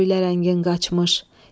Öylə rəngin qaçmış.